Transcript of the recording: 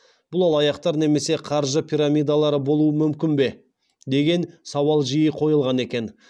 бұл алаяқтар немесе қаржы пирамидалары болу мүмкін бе деген сауал жиі қойылған екен